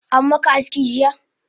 Ammaka aski jiya?